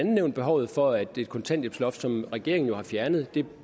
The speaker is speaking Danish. nævnt behovet for at det kontanthjælpsloft som regeringen jo har fjernet